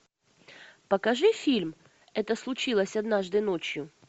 покажи фильм это случилось однажды ночью